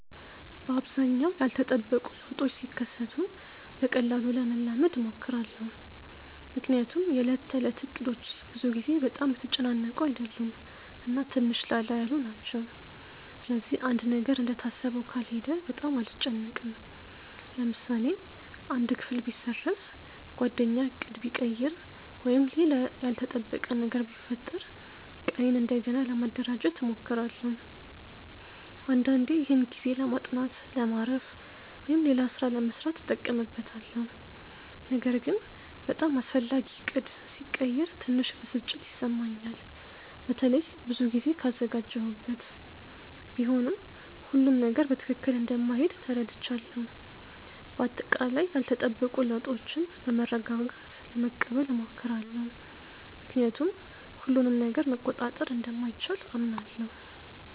በአብዛኛው ያልተጠበቁ ለውጦች ሲከሰቱ በቀላሉ ለመላመድ እሞክራለሁ። ምክንያቱም የዕለት ተዕለት እቅዶቼ ብዙ ጊዜ በጣም የተጨናነቁ አይደሉም እና ትንሽ ላላ ያሉ ናቸው። ስለዚህ አንድ ነገር እንደታሰበው ካልሄደ በጣም አልጨነቅም። ለምሳሌ አንድ ክፍል ቢሰረዝ፣ ጓደኛ ዕቅድ ቢቀይር ወይም ሌላ ያልተጠበቀ ነገር ቢፈጠር ቀኔን እንደገና ለማደራጀት እሞክራለሁ። አንዳንዴ ይህን ጊዜ ለማጥናት፣ ለማረፍ ወይም ሌላ ሥራ ለመሥራት እጠቀምበታለሁ። ነገር ግን በጣም አስፈላጊ ዕቅድ ሲቀየር ትንሽ ብስጭት ይሰማኛል፣ በተለይ ብዙ ጊዜ ካዘጋጀሁበት። ቢሆንም ሁሉም ነገር በትክክል እንደማይሄድ ተረድቻለሁ። በአጠቃላይ ያልተጠበቁ ለውጦችን በመረጋጋት ለመቀበል እሞክራለሁ፣ ምክንያቱም ሁሉንም ነገር መቆጣጠር እንደማይቻል አምናለሁ።